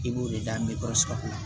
I b'o de da kɔnɔ